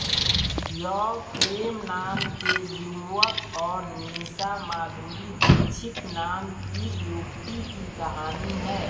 यह प्रेम नाम के युवक और निशा माधुरी दीक्षित नाम की युवती की कहानी है